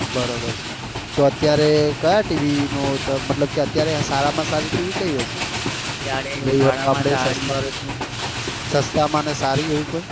બરોબર તો અત્યારે કયા tv મતલબ અત્યારે સારા માં સારી tv કઈ હશે સસ્તા માં ને સારી એવી કોઈ